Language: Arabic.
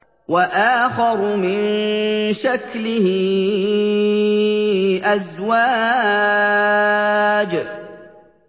وَآخَرُ مِن شَكْلِهِ أَزْوَاجٌ